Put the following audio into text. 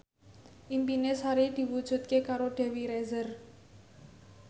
impine Sari diwujudke karo Dewi Rezer